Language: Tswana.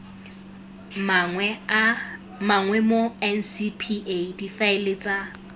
mangwe mo ncpa difaele tsa